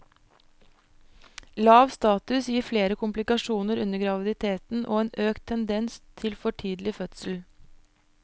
Lav status gir flere komplikasjoner under graviditeten og en økt tendens til for tidlig fødsel.